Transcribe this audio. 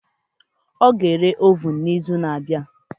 Ọ ga-ere ovun n'izu na-abịa